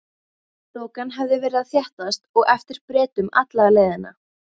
Þokan hafði verið að þéttast á eftir Bretum alla leiðina.